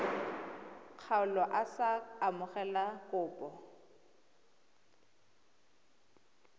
kgaolo a sa amogele kopo